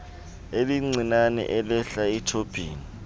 elincinane elihla ethobhini